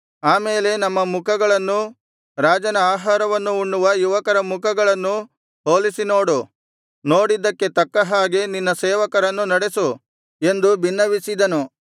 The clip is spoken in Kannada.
ಆ ಮೇಲೆ ನಮ್ಮ ಮುಖಗಳನ್ನೂ ರಾಜನ ಆಹಾರವನ್ನು ಉಣ್ಣುವ ಯುವಕರ ಮುಖಗಳನ್ನೂ ಹೋಲಿಸಿನೋಡು ನೋಡಿದ್ದಕ್ಕೆ ತಕ್ಕ ಹಾಗೆ ನಿನ್ನ ಸೇವಕರನ್ನು ನಡೆಸು ಎಂದು ಬಿನ್ನವಿಸಿದನು